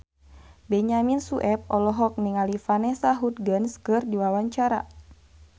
Benyamin Sueb olohok ningali Vanessa Hudgens keur diwawancara